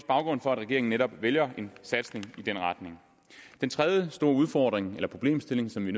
baggrunden for at regeringen netop vælger en satsning i den retning den tredje store udfordring eller problemstilling som vi